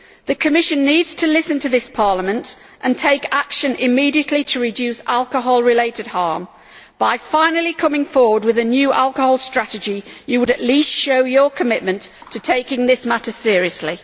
The Commission needs to listen to this Parliament and take action immediately to reduce alcohol-related harm. By finally coming forward with a new alcohol strategy, it would at least show commitment to taking this matter seriously.